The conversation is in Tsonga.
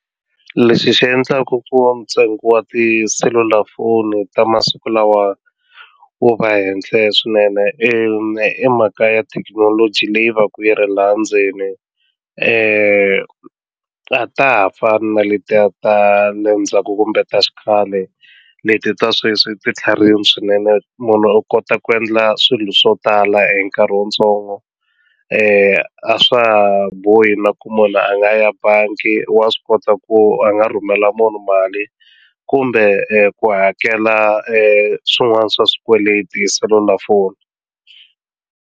Lexi xi endlaku ku ntsengo wa tiselulafoni ta masiku lawa wu va henhla swinene i mhaka ya thekinoloji leyi va ka yi ri laha ndzeni a ta ha fani na letiya ta na le ndzhaku kumbe ta xikhale leti ta sweswi ti tlharihini swinene munhu u kota ku endla swilo swo tala hi nkarhi wutsongo a swa ha bohi na ku munhu a nga ya bangi wa swi kota ku a nga rhumela munhu mali kumbe ku hakela swin'wana swa swikweleti hi selulafoni.